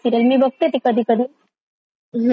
हम्म वेळेनुसार माझ्या.